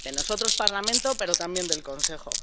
De nosotros, Parlamento, pero también del Consejo.